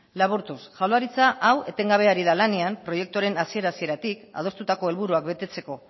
laburtuz jaurlaritza hau etengabe ari da lanean proiektuaren hasiera hasieratik adostutako helburuak betetzeko